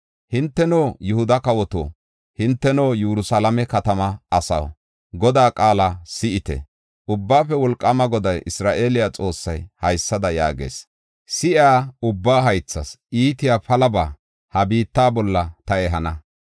‘Hinteno, Yihuda kawoto, hinteno Yerusalaame katama asaw, Godaa qaala si7ite!’ Ubbaafe Wolqaama Goday, Isra7eele Xoossay haysada yaagees: ‘Si7iya ubbaa haythas iitiya palaba ha biitta bolla ta ehana.’